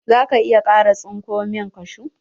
Za ka iya kara tsinko min kashu?